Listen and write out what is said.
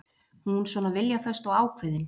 Hún svona viljaföst og ákveðin.